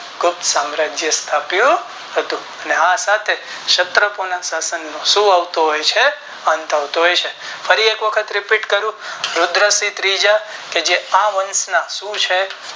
ગુપ્ત સામરાજ્ય સ્થાપ્યું હતું અને આ સાથે ક્ષતરો શાસન સાથે શું આવતો હોય છે અંત આવતો હોય છે હરિ એક વખત Repeat કરું રુદ્રસિંહ ત્રીજા કે જે આ વંશ ના શું છે.